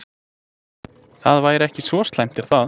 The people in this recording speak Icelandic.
Það væri ekki svo slæmt er það?